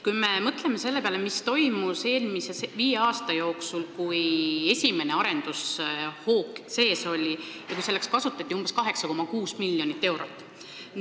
Kui me mõtleme selle peale, mis on toimunud viimase viie aasta jooksul, kui oli esimene arendushoog – selleks kasutati umbes 8,6 miljonit eurot.